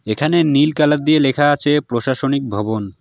এখানে নীল কালার দিয়ে লেখা আছে প্রশাসনিক ভবন।